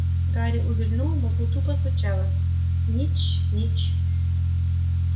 гарри увильнул в мозгу тупо стучало снитч снитч